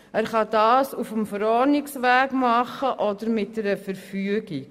Er kann dies auf dem Verordnungsweg machen oder mittels einer Verfügung.